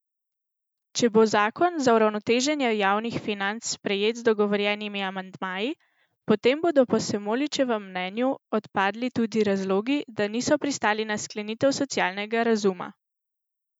Če bo zakon za uravnoteženje javnih financ sprejet z dogovorjenimi amandmaji, potem bodo po Semoličevem mnenju odpadli tudi razlogi, da niso pristali na sklenitev socialnega razuma.